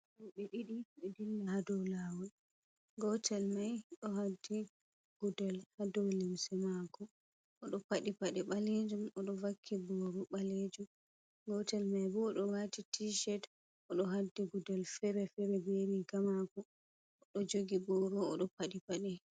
Roɓe ɗiɗi ɗo dilla ha dow lawol, gotel mai ɗo haddi gudel ha dow lemsi mako, oɗo paɗi paɗi ɓalejum, oɗo vakki boru ɓalejum, gotel mai bo ɗo wati tii shet, oɗo haddi gudel fere fere be rigamako, oɗo jogi boru oɗo paɗi paɗe.